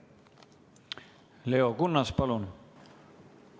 Leo Kunnas, palun!